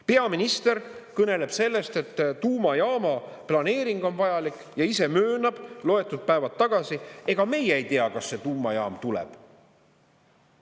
Peaminister kõneleb sellest, et tuumajaama planeering on vajalik, ja ise möönab loetud päevad tagasi: ega meie ei tea, kas see tuumajaam tuleb.